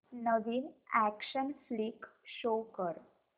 नवीन action flick show कर